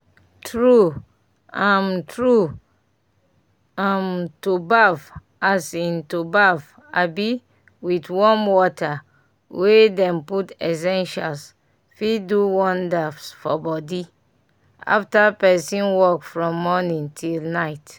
true um true um to baff um to baff um with warm water wey dem put essentials fit do wonders for body after person work from morning till night